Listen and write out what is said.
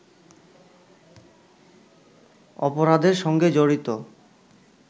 অপরাধের সঙ্গে জড়িত